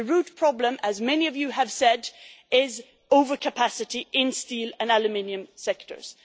The root problem, as many of you have said, is over capacity in the steel and aluminium sectors.